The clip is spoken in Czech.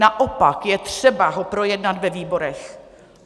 Naopak je třeba ho projednat ve výborech.